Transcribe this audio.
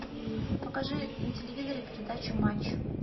покажи на телевизоре передачу матч